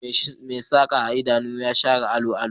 Mai saka idanu ya share allon allo